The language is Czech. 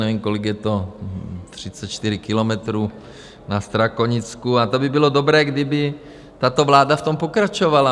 Nevím, kolik je to, 34 kilometrů na Strakonicku, a to by bylo dobré, kdyby tato vláda v tom pokračovala.